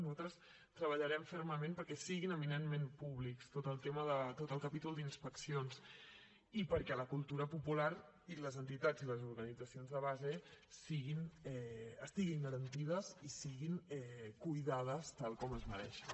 nosaltres treballarem fermament perquè sigui eminentment públic tot el capítol d’inspeccions i perquè la cultura popular i les entitats i les organitzacions de base estiguin garantides i siguin cuidades tal com es mereixen